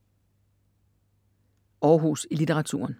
Århus i litteraturen